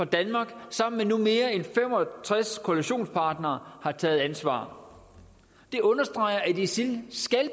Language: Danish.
danmark sammen med nu mere end fem og tres koalitionspartnere har taget ansvar det understreger at isil